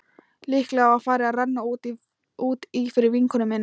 Líklega var farið að renna út í fyrir vinkonu minni.